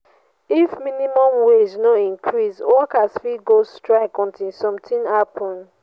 if minimum wage no increase workers fit go strike until something happen